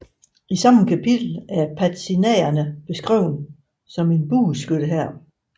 I samme kapitel er padzinagene beskrevet som en bueskyttehær